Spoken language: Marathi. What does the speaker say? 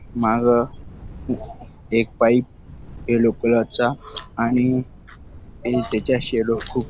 मागं एक पाईप येल्लो कलर चा आणि खूप --